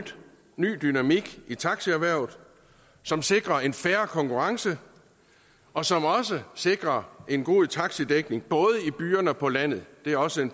ny dynamik i taxierhvervet som sikrer en fair konkurrence og som også sikrer en god taxidækning både i byerne og på landet det er også